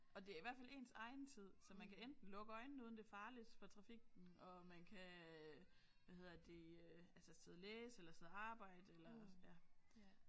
Og det er i hvert fald ens egen tid så man kan enten lukke øjnene uden det er farligt for trafikken og man kan øh hvad hedder det øh altså sidde og læse eller sidde og arbejde eller sådan ja